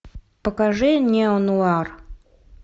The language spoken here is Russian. покажи неонуар